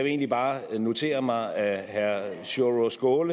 egentlig bare notere mig at herre sjúrður